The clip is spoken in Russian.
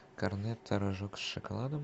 корнетто рожок с шоколадом